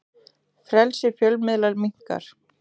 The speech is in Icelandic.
Frelsi fjölmiðla minnkar